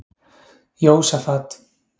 Jósafat